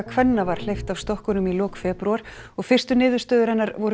kvenna var hleypt af stokkunum í lok febrúar og fyrstu niðurstöður hennar voru